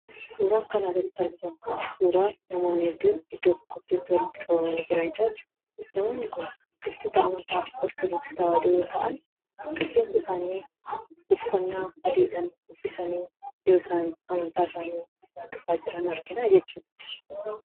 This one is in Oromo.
Suuraan kana gaditti argitan kun suuraa namoonni hedduun iddoo tokkotti walitti qabamanii jiranidha. Namoonni kun hordoftoota amantaa Orthodooksii tawaahidoo yeroo ta'an, rifeensa isaanii adiidhaan uffisanii yeroo isaan amantaa hordofaa jiran argina jechuudha.